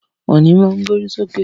Ọ̀nì má to gbórí sókè.